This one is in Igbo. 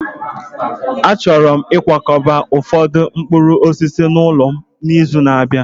Achọrọ m ịkwakọba ụfọdụ mkpụrụ osisi n'ụlọ m n'izu na-abịa